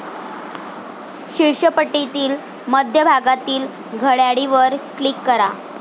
शीर्ष पट्टीतील मध्य भागातील घड्याळीवर क्लिक करा.